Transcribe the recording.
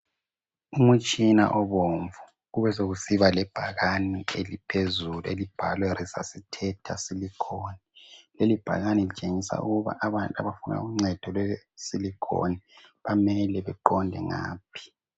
Umutshina obomvu, kubesekusiba lebhakani eliphezulu elibhalwe lesusithetha silikhoni. Lelibhakani litshengisa ukuba abafuna uncedo lwesilikhoni bamele beqonde ngaphi.